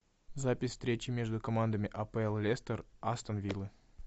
запись встречи между командами апл лестер астон виллы